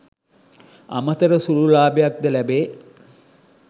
අමතර සුළු ලාභයක්ද ලැබේ